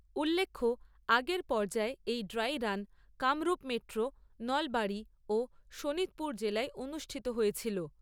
উল্লেখ্য আগের পর্যায়ে এই dry run Kamrup metro, Nalbari ও শোণিতপুর জেলায় অনুষ্ঠিত হয়েছিল।